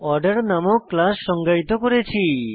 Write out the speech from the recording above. order নামক class সংজ্ঞায়িত করেছি